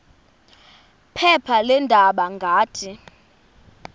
phepha leendaba ngathi